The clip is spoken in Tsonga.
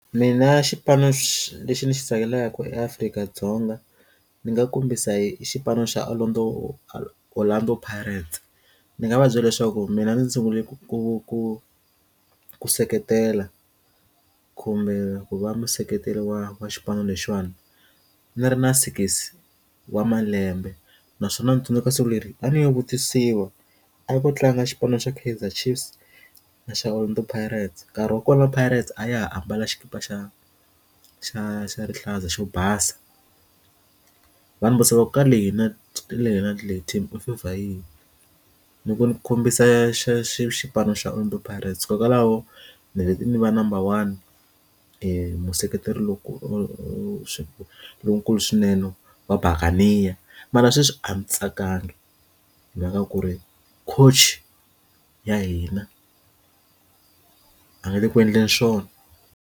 Mina xipano xi lexi ndzi xi tsakelaka eAfrika-Dzonga ndzi nga kombisa hi xipano xa Orlando Orlando Pirates ndzi nga va byela leswaku mina ndzi sungule ku ku ku ku seketela kumbe ku va museketeli wa wa xipano lexiyana ndz ri na six wa malembe naswona u tsundzuka siku leri a ndzi yi vutisiwa a ku tlanga xipano xa Kaizer Chiefs na xa Orlando Pirates nkarhi wa kona Pirates a ya ha ambala xikipa xa xa xa rihlaza xo basa va ndzi vutisa ku ka leyi na leyi team u favor yihi ndzi ku ndzi kombisa xipano xa xa Orlando Pirates kokwalaho ni leti ni va number one i museketeri loko swi lowukulu swinene wa buckerneer mara sweswi a ndzi tsakanga hi maka ya ku ri coach ya hina a nga le ku endleni swona.